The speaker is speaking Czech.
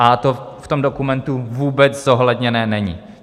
A to v tom dokumentu vůbec zohledněné není.